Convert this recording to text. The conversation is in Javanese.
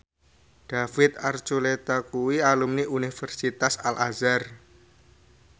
David Archuletta kuwi alumni Universitas Al Azhar